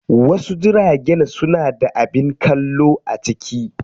Wasu jiragen suna da abin kallo a ciki.